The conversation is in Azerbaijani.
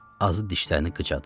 Azı dişlərini qıcadı.